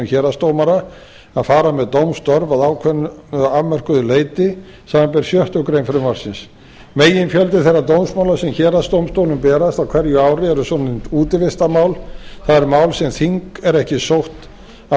héraðsdómara að fara með dómstörf á ákveðnu afmörkuðu leyti samanber sjöttu greinar frumvarpsins meginfjöldi þeirra dómsmála sem héraðsdómstólum berast á hverju ári eru svonefnd útivistarmál það eru mál sem þing er ekki sótt af